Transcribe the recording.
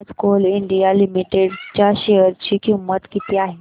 आज Coal India Limited च्या share ची किंमत किती आहे